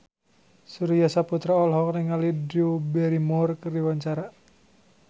Surya Saputra olohok ningali Drew Barrymore keur diwawancara